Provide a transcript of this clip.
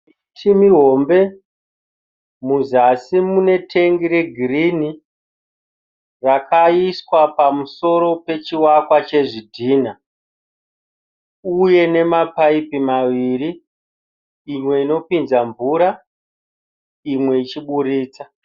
Chimi hombe, muzasi mune tengi regirini rakaiswa pamusoro pechiwakwa chezvidhinha uye nemapaipi maviri, imwe inopinza mvura imwe ichiburitsa.